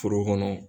Foro kɔnɔ